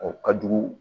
O ka jugu